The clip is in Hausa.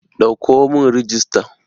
Ɗauko mun rijista!